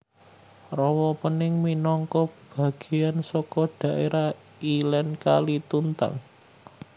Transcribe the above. Rawa Pening minangka bagéyan saka dhaérah ilèn Kali Tuntang